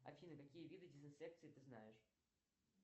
афина какие виды дезинфекции ты знаешь